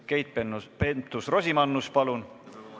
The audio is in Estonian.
Keit Pentus-Rosimannus, palun!